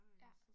Ja